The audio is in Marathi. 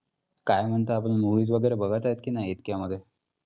काय म्हणता आपण movies वगैरे बघत आहेत की नाहीत इतक्यामध्ये?